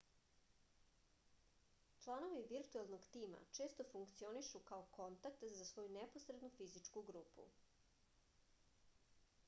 članovi virtuelnog tima često funkcionišu kao kontakt za svoju neposrednu fizičku grupu